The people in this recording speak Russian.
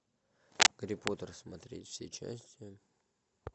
гарри поттер смотреть все части